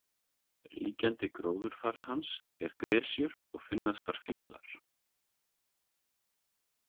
Ríkjandi gróðurfar hans er gresjur og finnast þar fílar.